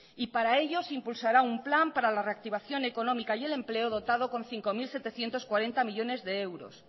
y para ello se impulsará un plan para la reactivación económica y el empleo dotado con cinco mil setecientos cuarenta millónes de euros